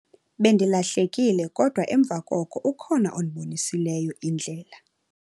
Bendilahlekile kodwa emva koko ukhona ondibonisileyo indlela.